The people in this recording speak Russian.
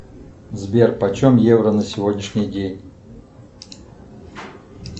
сбер почем евро на сегодняшний день